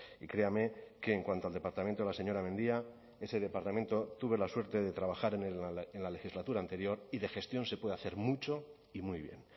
y créame que en cuanto al departamento de la señora mendia ese departamento tuve la suerte de trabajar en la legislatura anterior y de gestión se puede hacer mucho y muy bien